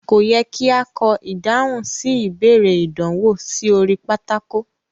Ko yẹ ki a kọ ìdáhùn sí ìbéèrè ìdánwò sí orí pátákó.